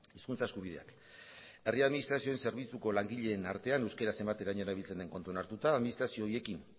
hizkuntza eskubideak herri administrazioen zerbitzuko langileen artean euskera zenbateraino erabiltzen den kontuan hartuta administrazio horiekin